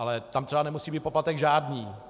Ale třeba tam nemusí být poplatek žádný.